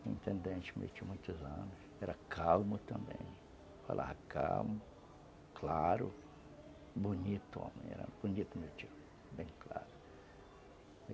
um intendente meu, tinha muitos anos, era calmo também, falava calmo, claro, bonito homem, era bonito meu tio, bem claro.